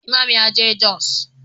Imam ya je jos.